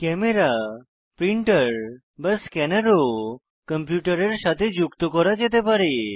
camera printer বা scanner ও কম্পিউটারের সাথে যুক্ত করা যেতে পারে